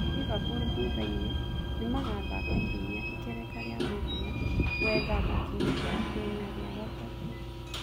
Liverpool thutha inĩ nĩmagathaka kiumia ikereka rĩa mũthia gwetha gũkinya itĩna rĩa gatatũ